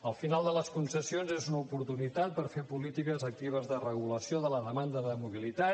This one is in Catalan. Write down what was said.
el final de les concessions és una oportunitat per fer polítiques actives de regulació de la demanda de mobilitat